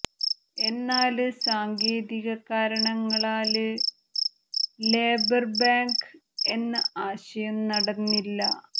എന്നാല് സാങ്കേതിക കാരണങ്ങളാല് ലേബര് ബാങ്ക് എന്ന ആശയം നടന്നില്ല